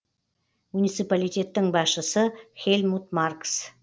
муниципалитеттің басшысы хельмут маркс